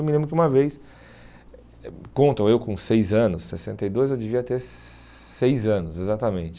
Eu me lembro que uma vez, contam eu com seis anos, sessenta e dois, eu devia ter seis anos, exatamente.